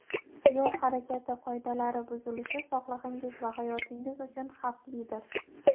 Yo‘l harakati qoidalari buzilishi sog‘lig‘ingiz va hayotingiz uchun xavflidir.